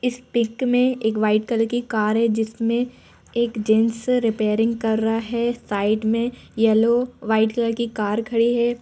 इस पिक में एक व्हाइट कलर की कार है जिसमें एक जेंट्स रिपेयरिंग कर रहा है। साइड में येलो व्हाइट कलर की कार खड़ी है।